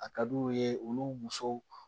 A ka d'u ye olu musow